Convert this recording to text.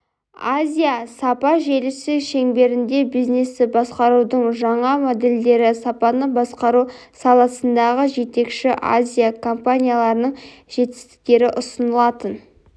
азия сапа желісі шеңберінде бизнесті басқарудың жаңа модельдері сапаны басқару саласындағы жетекші азия компанияларының жетістіктері ұсынылатын